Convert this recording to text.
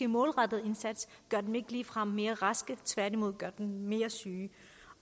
målrettede indsats gør dem ikke ligefrem mere raske tværtimod gør den mere syge